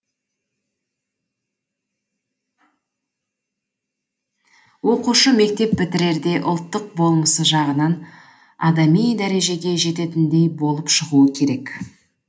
оқушы мектеп бітірерде ұлттық болмысы жағынан адами дәрежеге жететіндей болып шығуы керек